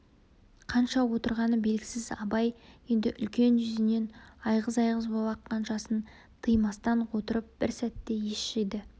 қанша отырғаны белгісіз абай енді үлкен жүзінен айғыз-айғыз боп аққан жасын тыймастан отырып бір сәтте ес жиды